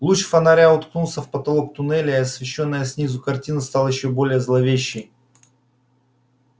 луч фонаря уткнулся в потолок туннеля и освещённая снизу картина стала ещё более зловещей